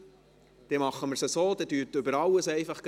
Dann machen wir es so, dass Sie gleich über alles sprechen.